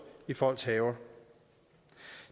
i folks haver